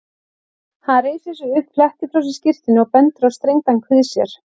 Hann reisir sig upp, flettir frá sér skyrtunni og bendir á strengdan kvið sér.